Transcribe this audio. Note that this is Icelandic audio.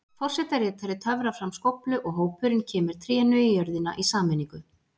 Forsetaritari töfrar fram skóflu og hópurinn kemur trénu í jörðina í sameiningu.